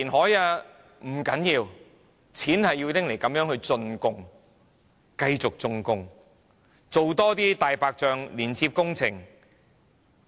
不要緊，我們的錢是要拿來這樣進貢的，繼續進貢，多做"大白象"工程。